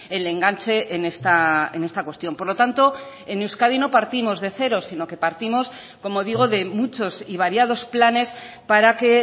el enganche en esta cuestión por lo tanto en euskadi no partimos de cero sino que partimos como digo de muchos y variados planes para que